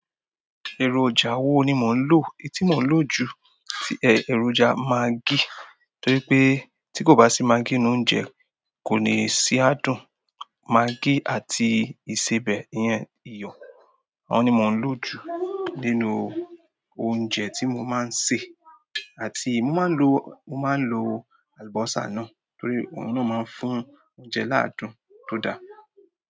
Ẹ̀rọ̀jà wo ni mò ń lò? Etí mo ń lò jù ti ẹ̀rọ̀jà maggi torí pé tí kò bá sí maggi nínú oúnjẹ kò ní ṣi àádùn. Magí àti ìsebẹ̀ ìyẹn iyọ̀ àwọn ni mo ń loju nínú oúnjẹ tí mo máa ń ṣe, àti, mo máa ń lò, mo mas ń lò àlùbọ́sà, torí òun na ma fún oúnjẹ laadun tó dára.